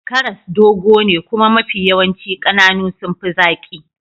Karas dogo ne kuma mafi yawanci kananu sun fi zaki.